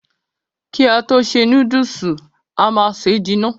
Ki a to ṣe núdùùsì, a má se jìnà.